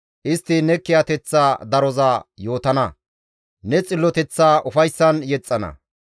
Istti ne kiyateththa daroza yootana; ne xilloteththaa ufayssan yexxana.